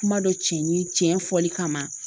Kuma dɔ cɛ ni cɛ fɔli kama